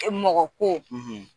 E mɔgɔ ko